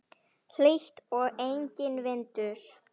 Hlýtt og enginn vindur.